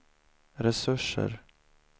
resurser